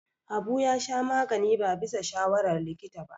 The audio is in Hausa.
Habu ya sha magani ba bisa shawarar likita ba.